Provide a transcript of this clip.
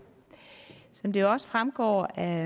som det også fremgår af